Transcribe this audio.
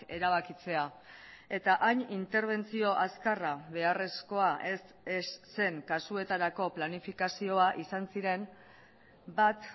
erabakitzea eta hain interbentzio azkarra beharrezkoa ez zen kasuetarako planifikazioa izan ziren bat